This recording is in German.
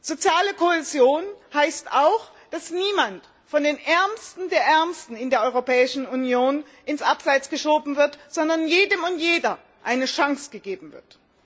Soziale Kohäsion heißt auch, dass niemand von den Ärmsten der Ärmsten der Europäischen Union ins Abseits geschoben wird, sondern jedem und jeder eine Chance gegeben wird.